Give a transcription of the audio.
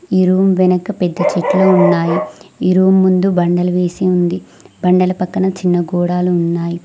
ఈ రూమ్ వెనక పెద్ద చెట్లు ఉన్నాయి ఈ రూమ్ ముందు బండలు వేసి ఉంది బండల పక్కన చిన్న గోడాలు ఉన్నాయి.